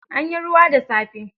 Anyi ruwa da safe.